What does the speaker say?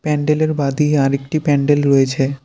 প্যান্ডেল -এর বা দিকে আরেকটি প্যান্ডেল রয়েছে।